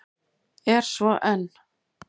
Er svo enn.